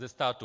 Ze státu.